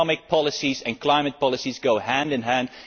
Economic policies and climate policies go hand in hand.